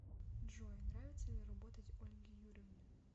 джой нравится ли работать ольге юрьевне